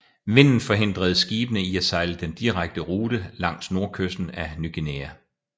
Vinden forhindrede skibene i at sejle den direkte rute langs nordkysten af Ny Guinea